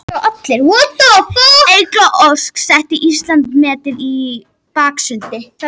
Eygló Ósk setti Íslandsmet í baksundi